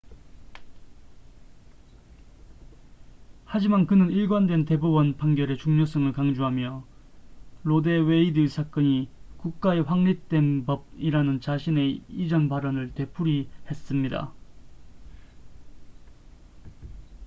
"하지만 그는 일관된 대법원 판결의 중요성을 강조하며 로 대 웨이드 사건이 "국가의 확립된 법""이라는 자신의 이전 발언을 되풀이했습니다.